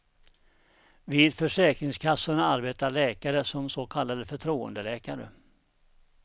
Vid försäkringskassorna arbetar läkare som så kallade förtroendeläkare.